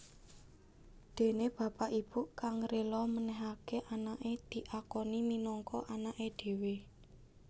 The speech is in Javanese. Dene bapak ibu kang rila menehake anake diakoni minangka anake dhewe